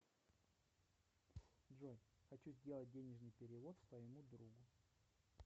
джой хочу сделать денежный перевод своему другу